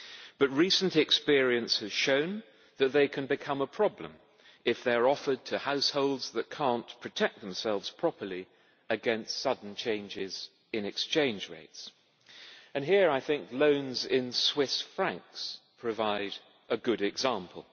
But recent experience has shown that they can become a problem if they are offered to households that cannot protect themselves properly against sudden changes in exchange rates, and here I think loans in Swiss francs, provide a good example.